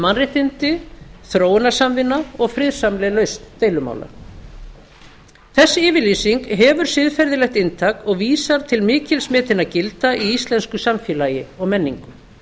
mannréttindi þróunarsamvinna og friðsamleg lausn deilumála þessi yfirlýsing hefur siðferðilegt inntak og vísar til mikils metinna gilda í íslensku samfélagi og menningu